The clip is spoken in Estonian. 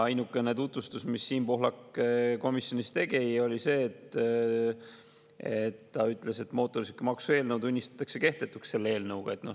Ainukene tutvustus, mida Siim Pohlak komisjonis tegi, oli see, et ta ütles, et mootorsõidukimaksu eelnõu tunnistatakse kehtetuks selle eelnõuga.